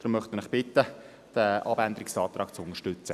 Deshalb bitte ich Sie, diesen Abänderungsantrag zu unterstützen.